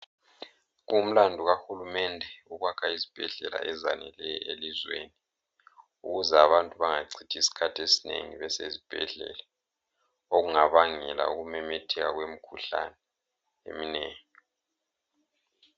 Kungumlandu kahulumende ukwakha izibhedlela ezaneleyo elizweni ukuze abantu bangachithi isikhathi esinengi besezibhedlela okungabangela ukumemetheka kwemikhuhlane eminengi.